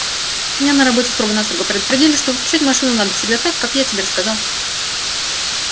меня на работе строго-настрого предупредили что выключать машину надо всегда так как я тебе рассказал